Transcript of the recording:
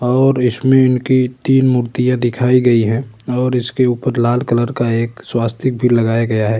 और इसमें इनकी तीन मूर्तियाँ दिखाई गयी है और इसके ऊपर लाल कलर का एक स्वस्तिक भी लगाया गया है।